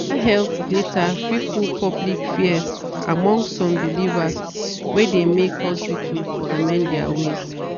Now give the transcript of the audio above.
better health data fit cool public fears among some believers wey de make hospitals to amend their way.